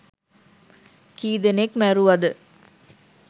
කීදෙනෙක් මැරැවද